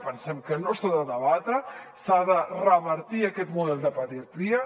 pensem que no s’ha de debatre s’ha de revertir aquest model de pediatria